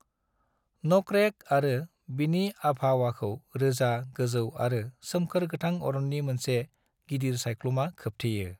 न'करेक आरो बिनि आभावाखौ रोजा, गोजौ आरो सोमखोर गोथां अरननि मोनसे गिदिर सायख्लुमा खोबथेयो।